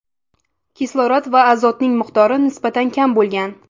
Kislorod va azotning miqdori nisbatan kam bo‘lgan.